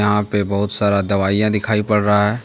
यहां पे बहुत सारा दवाइयां दिखाई पड़ रहा है।